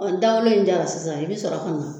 Ni dawolo in jara sisan i bi sɔrɔ ka na